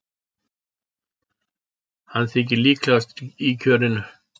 Hann þykir líklegastur í kjörinu.